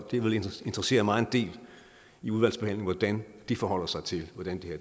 det vil interessere mig en del i udvalgsbehandlingen hvordan det forholder sig til hvordan